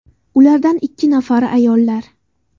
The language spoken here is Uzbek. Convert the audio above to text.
Ulardan ikki nafari ayollar.